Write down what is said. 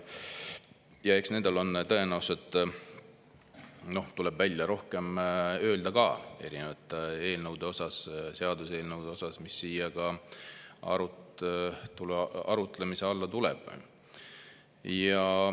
Ja eks nendel on tõenäoliselt, tuleb välja, rohkem öelda ka erinevate eelnõude kohta, seaduseelnõude kohta, mis siia arutlemise alla tulevad.